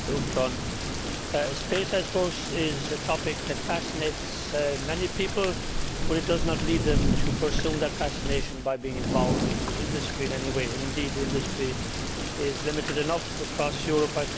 Madam President, space is, I suppose, a topic which fascinates many people but it does not lead them to pursue that fascination by being involved in the industry in any way, and indeed the industry is limited enough across Europe.